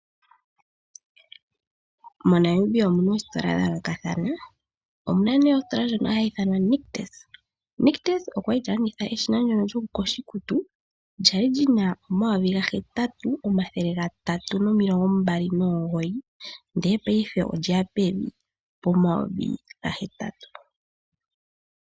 MoNamibia omuna oositola dha yoolokathana. Omuna nee ositola ndjono hayi ithanwa Nictus okwali ta landitha eshina ndyono lyokuyoga iikutu kwali lina omayovi gahetatu omathele gatatu nomilongombali nomugoyi ndele payife olye ya pomayovi gahetatu.